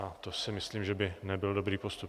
A to si myslím, že by nebyl dobrý postup.